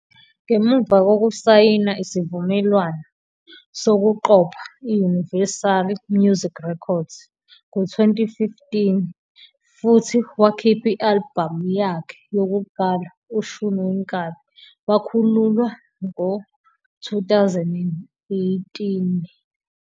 Ngemuva kokusayina isivumelwano sokuqopha i-Universal Music Records ngo-2015 futhi wakhipha i-albhamu yakhe yokuqala, "Ushun Wenkabi" wakhululwa, 2018.